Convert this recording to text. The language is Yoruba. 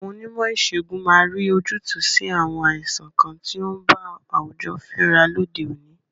Àwọn Onímò ìsègùn máa rí ojútùú sí àwọn àìsàn kan tí ó ń ba àwùjọ fínra lóde òní.